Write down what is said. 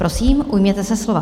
Prosím, ujměte se slova.